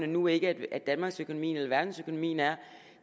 nu ikke danmarksøkonomien eller verdensøkonomien er